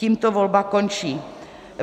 Tímto volba končí.